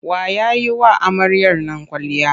Wa ya yi wa amaryar nan kwalliya?